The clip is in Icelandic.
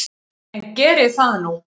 En geri það nú.